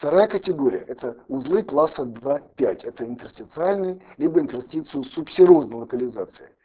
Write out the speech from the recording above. вторая категория это узы класса два пять это интерстициальный либо интерстицио-субсерозной локализации